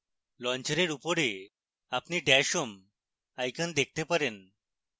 লঞ্চারের উপরে আপনি dash home icon দেখতে পারেন